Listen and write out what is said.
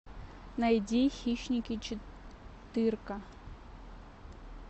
найди хищники четырка